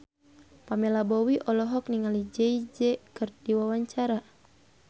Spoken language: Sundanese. Pamela Bowie olohok ningali Jay Z keur diwawancara